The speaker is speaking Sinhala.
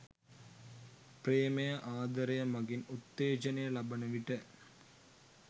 ප්‍රේමය, ආදරය මඟින් උත්තේජනය ලබන විට